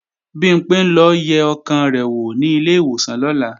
Bimpé ń lọ yẹ ọkàn rẹ̀ wò ní ilé ìwòsàn lọ́la